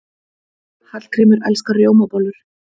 Hallgrímur elskar rjómabollur.